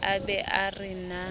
a be a re na